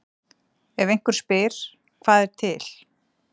Ef einhver spyr: Hvað er til?